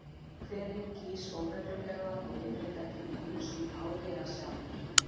Hverinn gýs óreglulega og yfirleitt ekki nema einu sinni á ári eða sjaldnar.